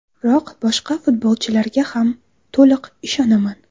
Biroq boshqa futbolchilarga ham to‘liq ishonaman.